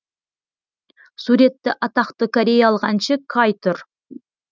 суретті атақты кореялық әнші каи тұр